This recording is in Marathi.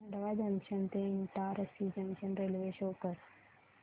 खंडवा जंक्शन ते इटारसी जंक्शन रेल्वे शो कर